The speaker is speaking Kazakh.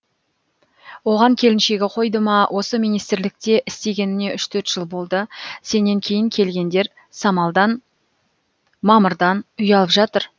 оған келіншегі қойды ма осы министрлікте істегеніңе үш төрт жыл болды сенен кейін келгендер самалдан мамырдан үй алып жатыр